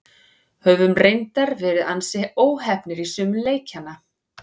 Höfum reyndar verið ansi óheppnir í sumum leikjanna.